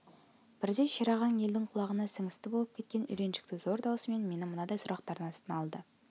бірде шерағаң елдің құлағына сіңісті болып кеткен үйреншікті зор даусымен мені мынадай сұрақтардың астына алды